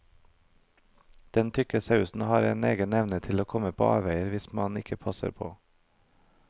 Den tykke sausen har en egen evne til å komme på avveier hvis man ikke passer på.